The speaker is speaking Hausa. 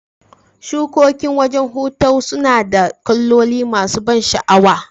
Shukokin wajan hutaw sunada kaloli masu ban shaawa